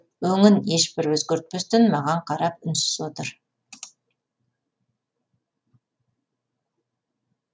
өңін ешбір өзгертпестен маған қарап үнсіз отыр